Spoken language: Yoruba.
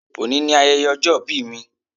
Òní ni ayẹyẹ ọjọ́ ìbí mi